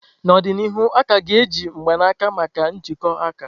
N'ọdịnihu, a ka ga-eji mgbanaka maka njikọ aka.